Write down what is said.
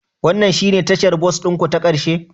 Wannan shine tashar bas ɗin ku ta ƙarshe?